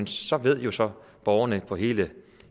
så ved borgerne på hele